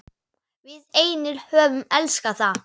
Við einir höfum elskað það.